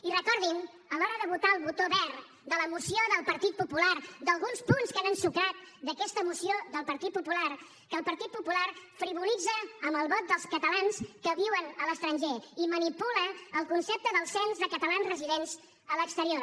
i recordin a l’hora de votar el botó verd de la moció del partit popular d’alguns punts que han ensucrat d’aquesta moció del partit popular que el partit popular frivolitza amb el vot dels catalans que viuen a l’estranger i manipula el concepte del cens de catalans residents a l’exterior